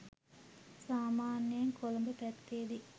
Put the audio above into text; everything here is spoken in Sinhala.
සාමාන්‍යයෙන් කොළඹ පැත්තෙදි